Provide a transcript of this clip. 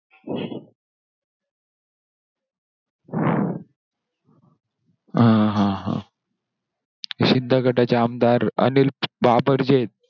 हा हा हा! शिंदे गटाचे आमदार अनिल बाबर जे आहेत,